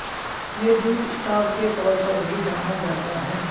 یہ David star کے طور پر بھی جانا جاتا ہے